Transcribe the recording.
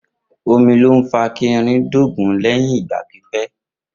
Omi ló ma ń fa kí irin dóògùn lẹyìn ìgbà pípé